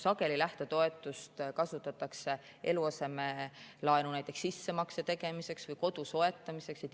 Sageli kasutatakse lähtetoetust näiteks eluasemelaenu sissemakse tegemiseks või kodu soetamiseks.